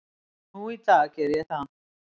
Nú í dag geri ég það.